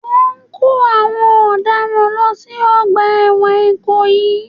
Wọ́n ń kó àwọn ọ̀daràn lọ sí Ọgbà ẹ̀wọ̀n ikoyi